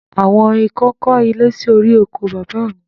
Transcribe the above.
Àwọn ikán kọ́ ilé sí orí oko bàbá mi.